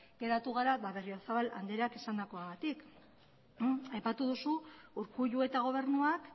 geratu gara berriozabal andereak esandakoagatik aipatu duzu urkullu eta gobernuak